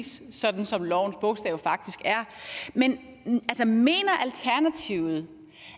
synes sådan og sådan og det synes